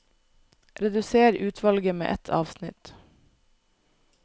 Redusér utvalget med ett avsnitt